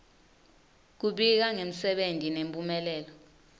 kubika ngemsebenti nemphumelelo